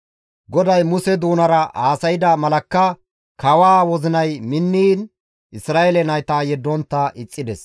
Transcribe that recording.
GODAY Muse doonara haasayda malakka kawaa wozinay minniin Isra7eele nayta yeddontta ixxides.